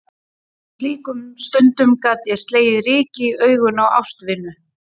Jafnvel á slíkum stundum gat ég slegið ryki í augun á ástvinu.